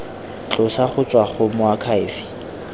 tlosa go tswa go moakhaefe